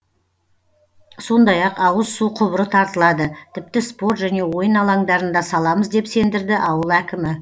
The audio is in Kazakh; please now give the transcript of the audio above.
сондай ақ ауыз су құбыры тартылады тіпті спорт және ойын алаңдарын да саламыз деп сендірді ауыл әкімі